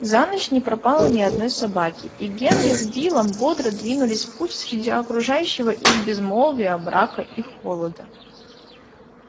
за ночь не пропало ни одной собаки и генри с биллом бодро двинулись в путь среди окружающего их безмолвия мрака и холода